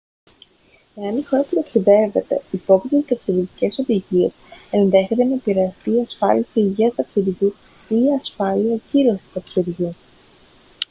εάν η χώρα που ταξιδεύετε υπόκειται σε ταξιδιωτικές οδηγίες ενδέχεται να επηρεαστεί η ασφάλιση υγείας ταξιδιού ή η ασφάλεια ακύρωσης ταξιδιού